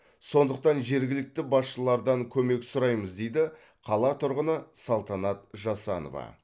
сондықтан жергілікті басшылардан көмек сұраймыз дейді қала тұрғыны салтанат жасанова